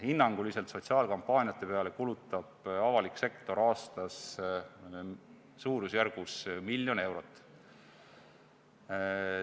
Hinnanguliselt kulutab avalik sektor sotsiaalkampaaniate peale aastas suurusjärgus miljon eurot.